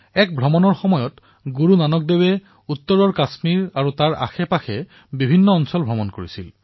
এক উদাসী সময়ত গুৰুনানকজীয়ে উত্তৰত কাশ্মীৰ আৰু ইয়াৰ ওচৰপাজৰৰ স্থানসমূহ ভ্ৰমণ কৰিছিল